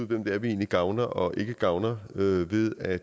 hvem det er vi egentlig gavner og ikke gavner ved ved at